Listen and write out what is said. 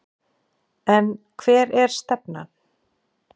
En hver er stefnan?